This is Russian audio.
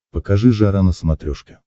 покажи жара на смотрешке